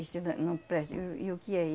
E se nã não presta, e o e o que é